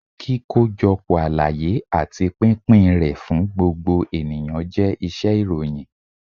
kíkojọpọ àlàyé ati pínpín ré fún gbógbo eníyan jẹ iṣẹ-ìròyìn.